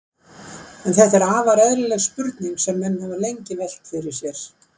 En þetta er afar eðlileg spurning sem menn hafa lengi velt fyrir sér.